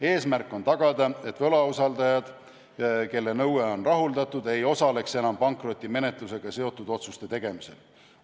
Eesmärk on tagada, et võlausaldajad, kelle nõue on rahuldatud, ei osaleks enam pankrotimenetlusega seotud otsuste tegemisel.